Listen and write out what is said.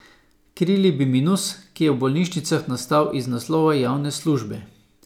Krili bi minus, ki je v bolnišnicah nastal iz naslova javne službe.